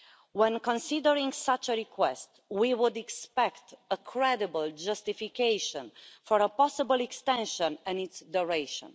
When considering such a request, we would expect a credible justification for a possible extension and its duration.